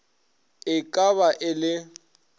e ka ba e le